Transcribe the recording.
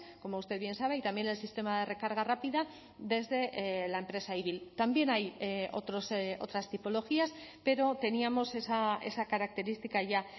como usted bien sabe y también el sistema de recarga rápida desde la empresa ibil también hay otros otras tipologías pero teníamos esa característica ya